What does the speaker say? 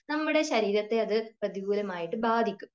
നമ്മുടെ ശരീരത്തെ അത് പ്രതികൂലമായിട്ട് ബാധിക്കും